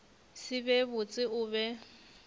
se be botse o be